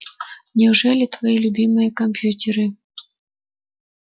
неужели твои любимые компьютеры